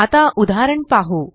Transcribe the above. आता उदाहरण पाहू